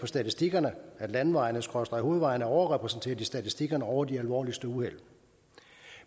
statistikkerne at landevejene skråstreg hovedvejene er overrepræsenteret i statistikkerne over de alvorligste uheld